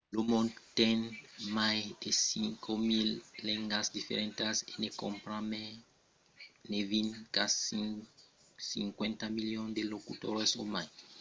lo mond ten mai de 5.000 lengas diferentas e ne compren mai de vint qu’an 50 milions de locutors o mai